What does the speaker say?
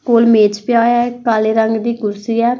ਕੋਲ ਮੇਜ ਪਿਆ ਹੋਇਆ ਕਾਲੇ ਰੰਗ ਦੀ ਕੁਰਸੀ ਹੈ।